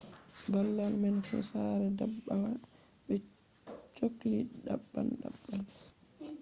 babal man fu sare ndabbawa be cholli daban daban